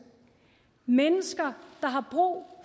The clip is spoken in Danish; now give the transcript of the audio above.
mennesker der har brug